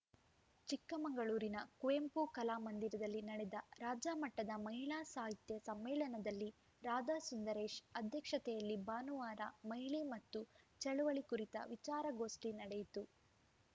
ಚಿಕ್ಕಮಗಳೂರಿನ ಕುವೆಂಪು ಕಲಾ ಮಂದಿರದಲ್ಲಿ ನಡೆದ ರಾಜ್ಯಮಟ್ಟದ ಮಹಿಳಾ ಸಾಹಿತ್ಯ ಸಮ್ಮೇಳನದಲ್ಲಿ ರಾಧಾ ಸುಂದರೇಶ್‌ ಅಧ್ಯಕ್ಷತೆಯಲ್ಲಿ ಭಾನುವಾರ ಮಹಿಳೆ ಮತ್ತು ಚಳುವಳಿ ಕುರಿತ ವಿಚಾರಗೋಷ್ಠಿ ನಡೆಯಿತು